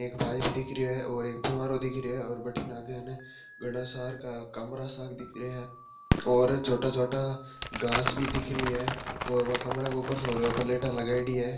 और एक पाईप दिख रही है और एक फुवारो दिख रहीयो है और बड़े नागर ये बासा कमरा दिखने है और छोटा छोटा घास भी दिख रही है और वो कमरा के उपर सोलर प्लेट भी दिख रही है।